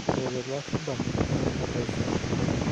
Ore tele arabal kairoshi apa aisul